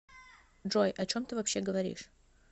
джой о чем ты вообще говоришь